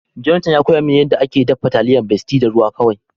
Jonathan ya koya ma ni yanda ake dafa taliyar besti da ruwa kawai.